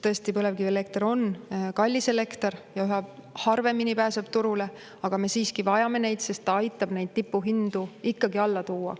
Tõesti, põlevkivielekter on kallis elekter ja üha harvemini pääseb turule, aga me siiski vajame neid, sest nad aitavad tipuhindu ikkagi alla tuua.